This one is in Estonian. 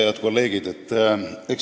Head kolleegid!